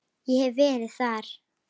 Ég hef verið þar.